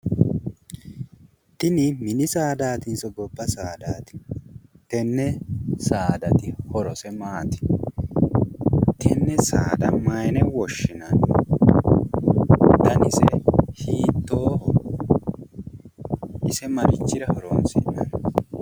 Tini mini saadaatiso gobba saadaati? tenne saadati horose maati ? tenne saada mayine woshshinanni danise hiittooho? ise marichira horoonsi'nanni?